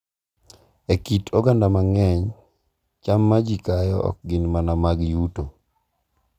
E kit oganda mang’eny, cham ma ji kayo ok gin mana mag yuto.